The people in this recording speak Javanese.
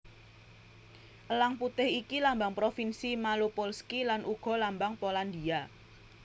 Elang Putih iki lambang provinsi Malopolskie lan uga Lambang Polandia